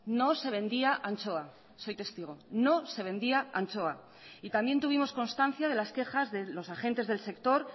no se vendía anchoa soy testigo no se vendía anchoa y también tuvimos constancia de las quejas de los agentes del sector